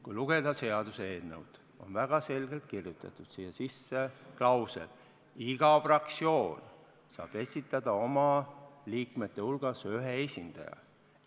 Kui lugeda seaduseelnõu, siis siia on väga selgelt kirjutatud sisse klausel, et iga fraktsioon saab esitada oma liikmete hulgast ühe esindaja.